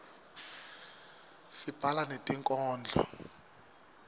sibhala netinkhondlo